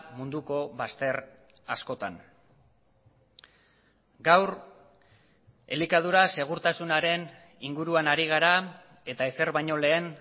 munduko bazter askotan gaur elikadura segurtasunaren inguruan ari gara eta ezer baino lehen